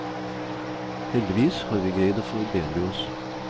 Heldigvis har vi greid å forbedre oss.